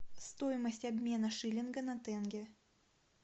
стоимость обмена шиллинга на тенге